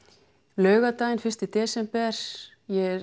laugardagurinn fyrsta desember ég